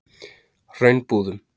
Hraunbúðum